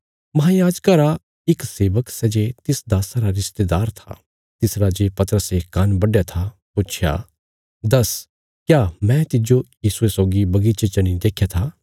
महायाजका रा इक सेवक सै जे तिस दास्सा रा रिशतेदार था तिसरा जे पतरसे कान्न बढया था पुच्छया दस्स क्या मैं तिज्जो यीशुये सौगी बगीचे च नीं देख्या था